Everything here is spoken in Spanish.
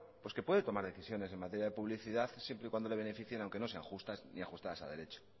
pues que puede tomar decisiones en materia de publicidad siempre y cuando le beneficien aunque no sean justas ni ajustadas a derecho